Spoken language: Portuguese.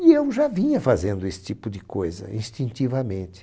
E eu já vinha fazendo esse tipo de coisa, instintivamente.